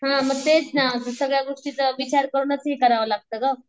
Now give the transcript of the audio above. हां म तेच ना सगळ्या गोष्टीच विचार करूनच हे करावं लागतं गं.